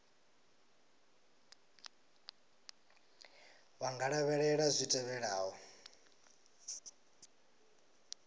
vha nga lavhelela zwi tevhelaho